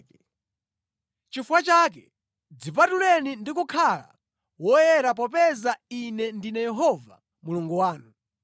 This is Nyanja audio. “ ‘Chifukwa chake dzipatuleni ndi kukhala woyera popeza Ine ndine Yehova Mulungu wanu.